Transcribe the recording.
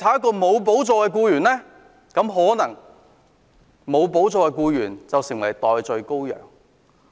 沒有補助的僱員可能會成為"代罪羔羊"。